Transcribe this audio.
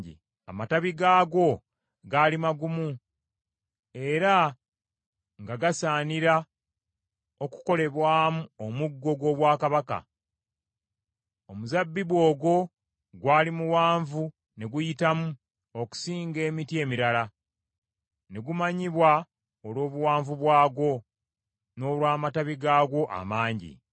Amatabi gaagwo gaali magumu, era nga gasaanira okukolebwamu omuggo gw’obwakabaka. Omuzabbibu ogwo gwali muwanvu ne guyitamu okusinga emiti emirala, ne gumanyibwa olw’obuwanvu bwagwo, n’olw’amatabi gaagwo amangi.